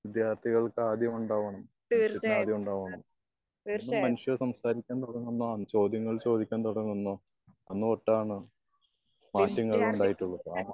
വിദ്യാർത്തികൾക്ക് ആദ്യം ഉണ്ടാവും. മനുഷ്യന്ന് ആദ്യം ഉണ്ടാവണം. ഇന്നും മനുഷ്യൻ സംസാരിക്കാൻ തുടങ്ങുന്നു. ചോദ്യങ്ങൾ ചോദിക്കാൻ തുടങ്ങുന്നു. ഒന്ന് തൊട്ടൻ മാറ്റങ്ങൾ ഉണ്ടായിട്ടൊള്ളു അ